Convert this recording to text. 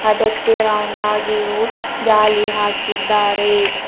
ಅದಕ್ಕೆ ರೌಂಡ್ ಆಗಿಯು ಜಾಲಿ ಹಾಕಿದ್ದಾರೆ.